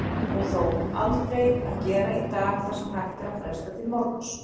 Og þó, aldrei að gera í dag það sem hægt er að fresta til morguns.